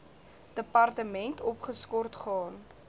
departement opgeskort gaan